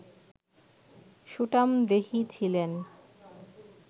সুঠামদেহী ছিলেন